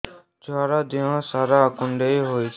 ଛୁଆର୍ ଦିହ ସାରା କୁଣ୍ଡିଆ ହେଇଚି